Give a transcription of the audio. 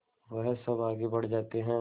वह सब आगे बढ़ जाते हैं